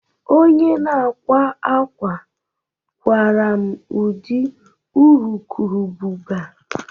Onye ahụ na-akwa akwa kwara m ụdị urukurubụba